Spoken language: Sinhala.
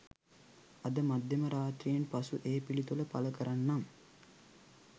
අද මධ්‍යම රාත්‍රියෙන් පසු ඒ පිළිතුරු පල කරන්නම්